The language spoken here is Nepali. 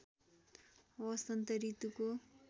वसन्त ऋतुको